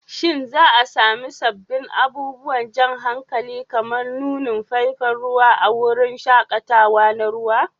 Shin za a sami sabbin abubuwan jan hankali kamar nunin faifan ruwa a wurin shaƙatawa na ruwa?